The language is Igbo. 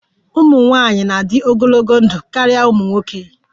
Ụmụ nwanyị na-adị ogologo ndụ karịa ụmụ nwoke